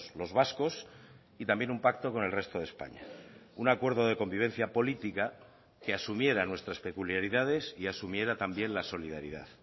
los vascos y también un pacto con el resto de españa un acuerdo de convivencia política que asumiera nuestras peculiaridades y asumiera también la solidaridad